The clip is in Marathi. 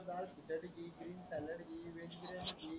ग्रीन सॅलॅड व्हेज बिर्याणी घे